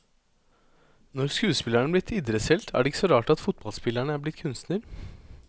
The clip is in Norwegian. Når skuespilleren er blitt idrettshelt, er det ikke så rart at fotballspilleren er blitt kunstner.